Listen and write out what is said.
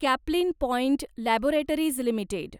Caplin Point Laboratories limited